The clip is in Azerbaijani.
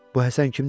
Bu Həsən kimdi belə?